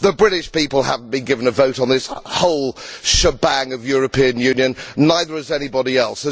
The British people have not been given a vote on this whole shebang of European Union, and neither has anybody else.